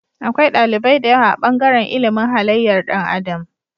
Akwai ɗalibai da yawa a bangaran ilimin halayyar Dan adam